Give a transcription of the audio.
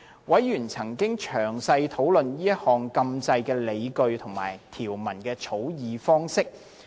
委員曾詳細討論這項禁制的理據及條文的草擬方式。